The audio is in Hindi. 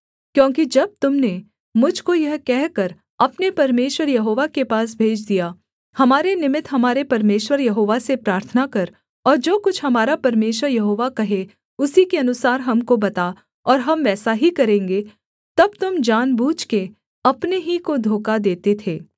क्योंकि जब तुम ने मुझ को यह कहकर अपने परमेश्वर यहोवा के पास भेज दिया हमारे निमित्त हमारे परमेश्वर यहोवा से प्रार्थना कर और जो कुछ हमारा परमेश्वर यहोवा कहे उसी के अनुसार हमको बता और हम वैसा ही करेंगे तब तुम जानबूझके अपने ही को धोखा देते थे